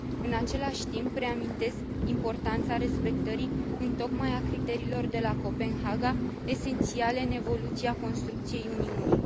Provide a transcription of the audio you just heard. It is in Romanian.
În același timp, reamintesc importanța respectării întocmai a criteriilor de la Copenhaga, esențiale în evoluția construcției Uniunii.